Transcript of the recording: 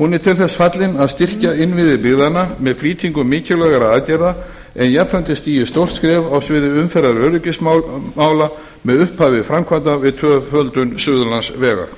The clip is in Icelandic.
hún er til þess fallin að styrkja innviði byggðanna með flýtingu mikilvægra aðgerða en jafnframt er stigið stórt skref á sviði umferðaröryggismála með upphafi framkvæmda við tvöföldun suðurlandsvegar